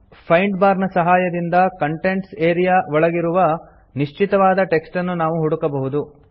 find bar ನ ಸಹಾಯದಿಂದ contents area ಒಳಗಿರುವ ನಿಶ್ಚಿತವಾದ ಟೆಕ್ಸ್ಟ್ ಅನ್ನು ನಾವು ಹುಡುಕಬಹುದು